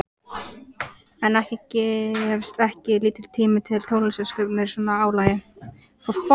En gefst ekki lítill tími til tónlistarsköpunar í svona álagi?